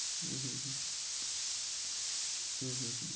হম হম হম হম হম হম